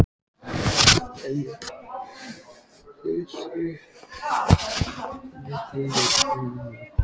En hlutirnir snerust við þegar skólinn var búinn.